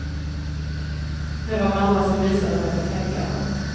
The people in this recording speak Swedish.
Det var mamma som visade mig på tänkarna.